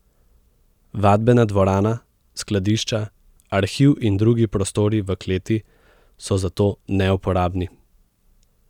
Vadbena dvorana, skladišča, arhiv in drugi prostori v kleti so zato neuporabni.